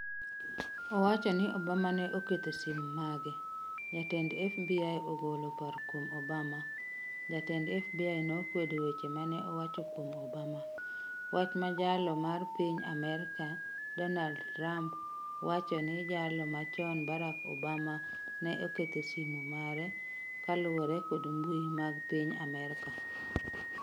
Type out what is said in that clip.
Owacho ni Obama ne ketho simu mage Jatend FBI ogolo paro kuom Obama Jatend FBI nokwedo weche ma ne owacho kuom Obama. Wach ma Jalo mar piny Amerka Donald Trump wacho ni Jalo machon Barack Obama nene oketho simu mare, kaluwore kod mbui mag piny Amerka.